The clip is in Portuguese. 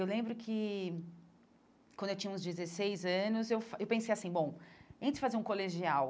Eu lembro que, quando eu tinha uns dezesseis anos, eu eu pensei assim bom, antes de fazer um colegial,